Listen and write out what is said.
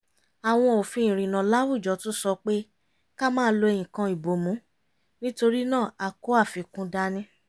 àwọn òfin ìrìnnà láwùjọ tún sọ pé ká máa lo nǹkan ìbomú nítorí náà a kó àfikún dání